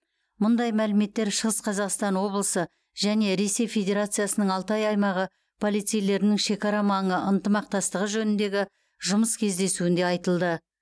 мұндай мәліметтер шығыс қазақстан облысы және ресей федерациясының алтай аймағы полицейлерінің шекарамаңы ынтымақтастығы жөніндегі жұмыс кездесуінде айтылды